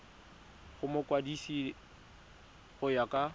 go mokwadise go ya ka